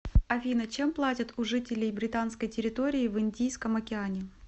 афина чем платят у жителей британской территории в индийском океане